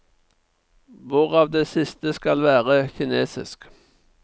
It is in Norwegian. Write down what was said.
Hvorav det siste skal være kinesisk.